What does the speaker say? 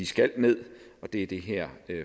skal ned og det er det her